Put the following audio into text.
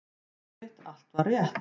Já, einmitt, allt var rétt.